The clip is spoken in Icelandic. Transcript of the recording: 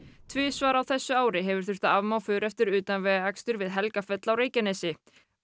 tvisvar á þessu ári hefur þurft að afmá för eftir utanvegaakstur við Helgafell á Reykjanesi